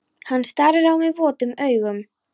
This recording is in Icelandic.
Hann starir á mig votum augum.